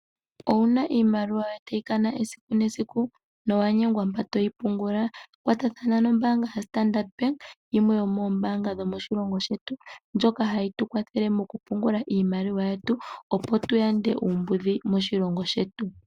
Owu na iimaliwa yoye tayi kana esiku nesiku na owa nyengwa mpa toyi pungula? Kwatathana nombaanga yoStandard yimwe yo moombanga dhomoshilongo shetu ndjoka hayi tu kwathele mokupungula iimaliwa yetu, opo tu yande uumbudhi moshilongo shetu.